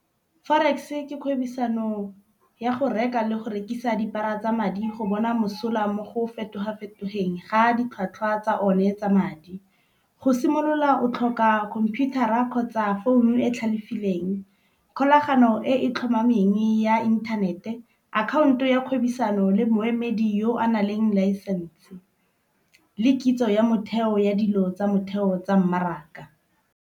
Forex ke kgwebisano ya go reka le go rekisa dipara tsa madi go bona mosola mo go fetoga fetogeng ga ditlhwatlhwa tsa one tsa madi. Go simolola o tlhoka khomputara kgotsa founu e tlhalefileng. Kgolagano e e tlhomameng ya inthanete, akhaonto ya kgwebisano le moemedi yo anang leng laesense le kitso ya motheo ya dilo tsa motheo tsa mmaraka.